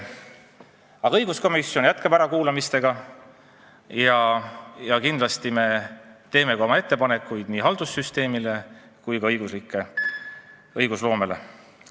Õiguskomisjon jätkab ärakuulamisi ja kindlasti me teeme oma ettepanekuid nii haldussüsteemi kui ka õigusloome kohta.